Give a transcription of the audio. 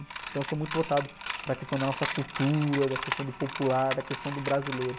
Então eu sou muito voltado para a questão da nossa cultura, da questão do popular, da questão do brasileiro.